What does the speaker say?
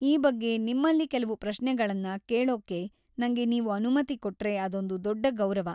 ಈ ಬಗ್ಗೆ ನಿಮ್ಮಲ್ಲಿ ಕೆಲ್ವು ಪ್ರಶ್ನೆಗಳನ್ನ ಕೇಳೋಕ್ಕೆ ನಂಗೆ ನೀವು ಅನುಮತಿ ಕೊಟ್ರೆ ಅಂದೊಂದು ದೊಡ್ಡ ಗೌರವ.